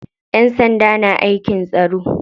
Ƴan sanda na aikin tsaro.